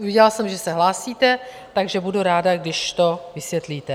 Viděla jsem, že se hlásíte, takže budu ráda, když to vysvětlíte.